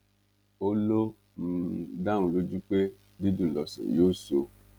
ó lọ um dá òun lójú pé dídùn lọsàn yóò sọ